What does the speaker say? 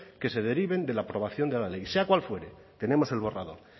que se deriven de la aprobación de la ley sea cual fuere tenemos el borrador